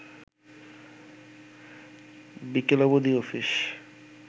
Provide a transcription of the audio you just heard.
বিকেল অবধি অফিস